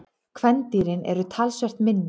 Kvendýrin eru talsvert minni.